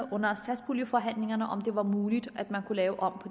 under satspuljeforhandlingerne om det var muligt at man kunne lave om